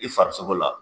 I farisogo la